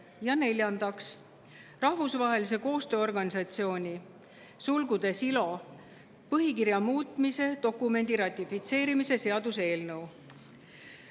Ja neljandaks, Rahvusvahelise Tööorganisatsiooni põhikirja muutmise dokumendi ratifitseerimise seaduse eelnõu.